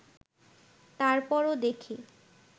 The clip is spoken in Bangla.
তার পরও দেখি